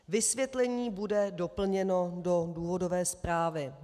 Vysvětlení bude doplněno do důvodové zprávy.